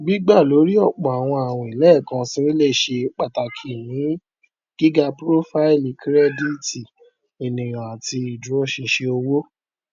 gbígbà lórí ọpọ àwọn àwìn lẹẹkansi lè ṣe pàtàkì ní gíga profaili kirẹdìtì ènìyàn àti ìdúróṣinṣin owó